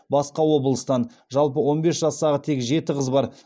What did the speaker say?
басқа облыстан жалпы он бес жастағы тек жеті қыз бар